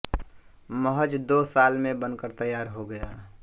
महज़ दो साल में बनकर तैयार हो गया